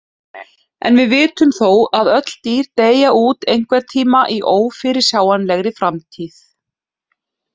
En við vitum þó að öll dýr deyja út einhvern tímann í ófyrirsjáanlegri framtíð.